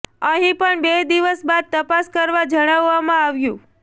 અહીં પણ બે દિવસ બાદ તપાસ કરવા જણાવવામાં આવ્યું